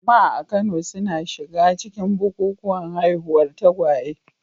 Jama'a a Kano suna shiga cikin bukukuwan haihuwar tagwaye.